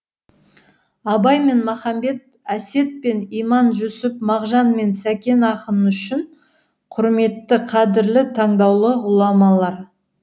абай мен махамбет әсет пен иманжүсіп мағжан мен сәкен ақын үшін құрметті қадірлі таңдаулы ғұламалар